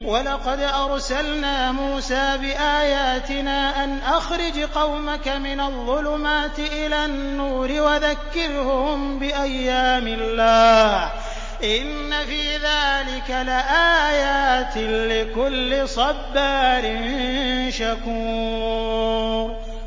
وَلَقَدْ أَرْسَلْنَا مُوسَىٰ بِآيَاتِنَا أَنْ أَخْرِجْ قَوْمَكَ مِنَ الظُّلُمَاتِ إِلَى النُّورِ وَذَكِّرْهُم بِأَيَّامِ اللَّهِ ۚ إِنَّ فِي ذَٰلِكَ لَآيَاتٍ لِّكُلِّ صَبَّارٍ شَكُورٍ